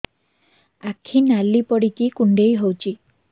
ଆଖି ନାଲି ପଡିକି କୁଣ୍ଡେଇ ହଉଛି